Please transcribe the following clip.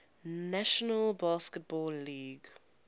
national basketball league